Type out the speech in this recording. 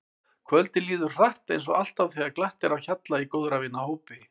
Kvöldið líður hratt eins og alltaf þegar glatt er á hjalla í góðra vina hópi.